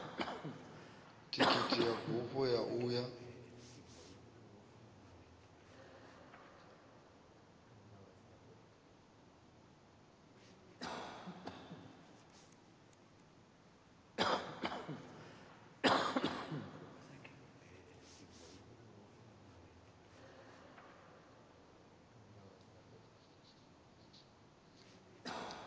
thikhithi ya bufho ya uya